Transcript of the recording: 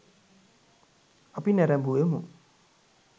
අපි නැරඹුවෙමු.